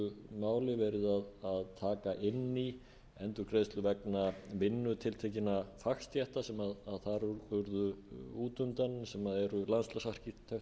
að taka inn í endurgreiðslu vegna vinnu tiltekinna fagstétta sem þar urðu út undan sem eru landslagsarkitektar innanhússarkitektar og byggingarfræðingar